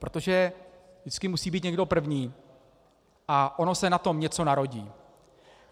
Protože vždycky musí být někdo první a ono se na tom něco narodí.